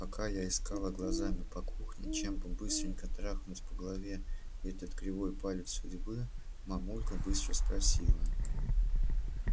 пока я искала глазами по кухне чем бы быстренько трахнуть по голове этот кривой палец судьбы мамулька быстро спросила